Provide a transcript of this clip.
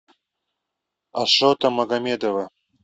ашота магомедова